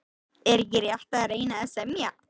Er ekki rétt að reyna að semja?